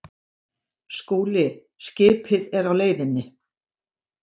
SKÚLI: Skipið er á leiðinni.